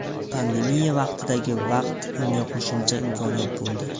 Pandemiya vaqtidagi vaqt unga qo‘shimcha imkoniyat bo‘ldi.